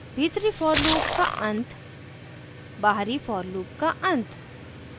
भीतरी for loop का अंत बाहरी for loop का अंत